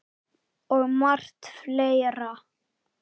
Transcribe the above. Og margt fleira.